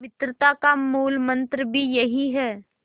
मित्रता का मूलमंत्र भी यही है